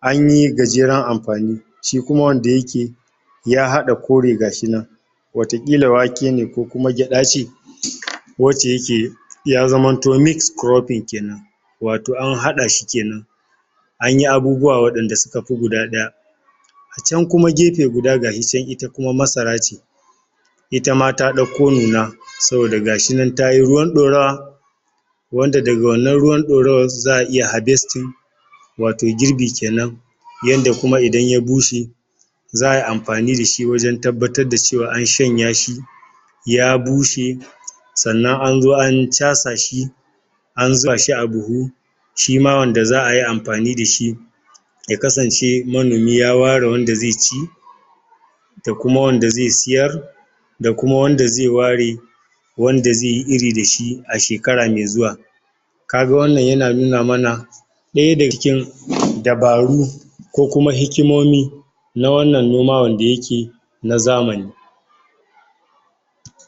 anyi gajeren amfani shi kuma wanda yake ya hada kore gashi nan wata ƙila wake ne ko kuma geɗa ce wace yake iya zamanto mixed cropping kenan wato an haɗa shi kenan anyi abubuwa wadanda suka fi guda ɗaya can kuma gefe guda gashi can ita kuma masara ce ita ma ta dauko nuna saboda gashinan tayi ruwan dorawa wanda daga wannan ruwan dorawa za'a iya harvesting wato girbi kenan yanda kuma idan ya bushe za'a yi amfani dashi wajen tabbatar da cewa an shanya shi ya bushe sannan an zo an chasa shi an zuba shi a buhu shima wanda za'a yi amfani da shi ya kasance manomi ya ware wanda zai ci da kuam wanda zai siyar da kuma wanda zai ware wanda ze yi iri da shi a shekara mai zuwa kaga wannan yana nuna mana ɗaya daga cikin dabaru kokuma hikimomi na wannan noma wanda yake na zamani